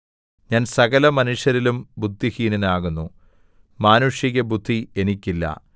ഞാൻ സകലമനുഷ്യരിലും ബുദ്ധിഹീനനാകുന്നു മാനുഷീകബുദ്ധി എനിക്കില്ല